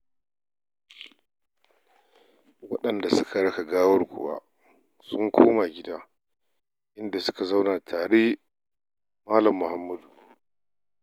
Waɗanda suka raka gawarwakin sun komo gida inda suka zauna tare Mal. Muhammad.